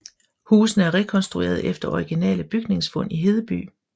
Husene er rekonstrueret efter originale bygningsfund i Hedeby